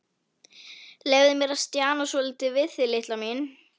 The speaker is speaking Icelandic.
Leyfðu mér að stjana svolítið við þig, litla mín.